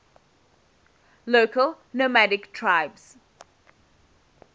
local nomadic tribes